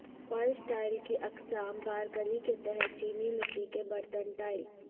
فرش ٹائل کی اقسام پارکلی کے تحت چینی مٹی کے برتن ٹائل